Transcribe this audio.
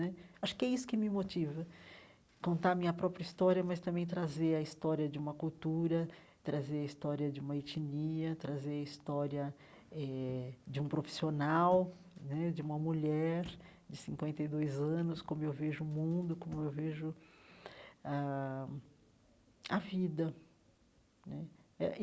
Acho que é isso que me motiva, contar a minha própria história, mas também trazer a história de uma cultura, trazer a história de uma etnia, trazer a história eh de um profissional né, de uma mulher de cinquenta e dois anos, como eu vejo o mundo, como eu vejo a a vida né eh.